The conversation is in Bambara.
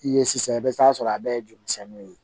I ye sisan i bɛ taa sɔrɔ a bɛɛ ye jurumisɛnninw ye